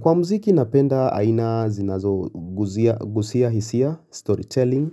Kwa mziki napenda aina zinazogusia hisia, storytelling.